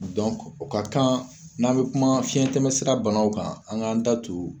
o ka kan n'an bɛ kuma fiɲɛtɛmɛsira bana kan an k'an da tun.